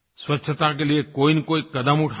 स्वच्छता के लिए कोईनकोई कदम उठाएँ